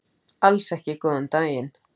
Alls ekki góðan daginn.